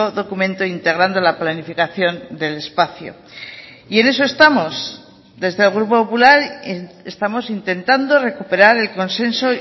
documento integrando la planificación del espacio y en eso estamos desde el grupo popular estamos intentando recuperar el consenso